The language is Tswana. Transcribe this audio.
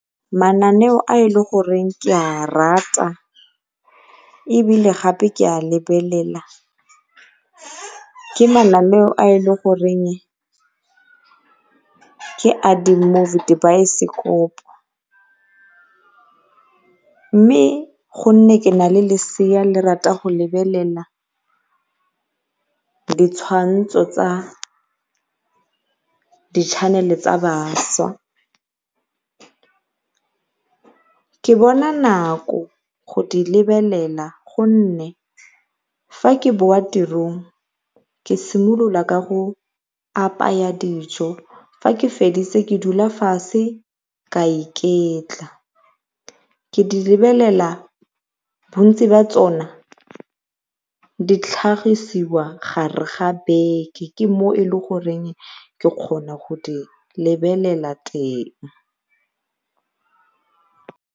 Mananeo a e le goreng ke a rata ebile gape ke a lebelela ke mananeo a e le goreng ke a di-movie dibaesekopo mme go nne ke nale lesea le rata go belelela ditshwantsho tsa di-chanel-e tsa bašwa. Ke bona nako go di lebelela gonne fa ke boa tirong ke simolola ka go apaya dijo fa ke feditse ke dula fatshe ke a iketla, ke di lebelela bontsi jwa tsone ditlhagisiwa mogare ga beke ke gone mo e le goreng ke kgona go di lebelela teng.